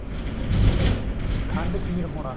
ਖੰਡਖੀਰ ਹੋਣਾ